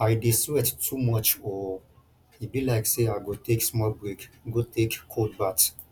i dey sweat too much oo e be like say i go take small break go take cold bath